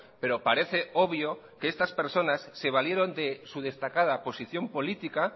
pero parece obvio que estas personas se valieron de su destacada posición política